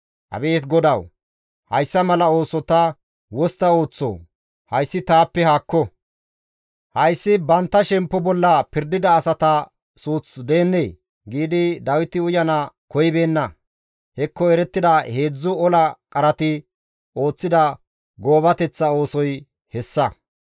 «Abeet GODAWU! Hayssa mala ooso ta wostta ooththoo? Hayssi taappe haakko! Hayssi bantta shemppo bolla pirdida asata suuth deennee?» giidi Dawiti uyana koyibeenna; hekko erettida heedzdzu ola qarati ooththida goobateththa oosoy hessa.